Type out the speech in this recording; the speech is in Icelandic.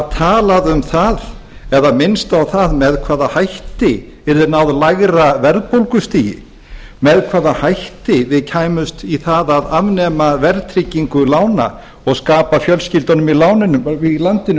talað um það eða minnst á það með hvaða hætti yrði náð lægra verðbólgustigi með hvaða hætti við kæmumst í það að afnema verðtryggingu lána og skapa fjöldanum í landinu